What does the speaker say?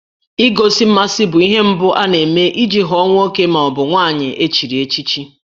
Igosi mmasị bụ ihe mbụ ana-eme iji ghọọ nwoke ma ọ bụ nwaanyị echiri echichi